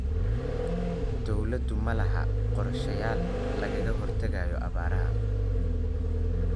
Dawladdu malaha qorshayaal lagaga hortagayo abaaraha.